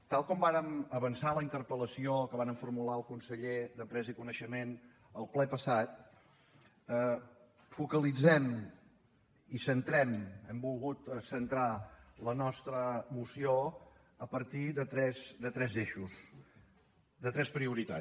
tal com vàrem avançar en la interpel·lació que vàrem formular al conseller d’empresa i coneixement al ple passat focalitzem i centrem hem volgut centrar la nostra moció a partir de tres eixos de tres prioritats